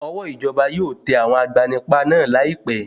Ọwọ́ ìjọba yóò tẹ àwọn agbanipa náà láìpé.